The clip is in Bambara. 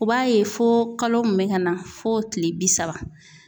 U b'a ye fo kalo mun bɛ ka na f'o tile bi saba .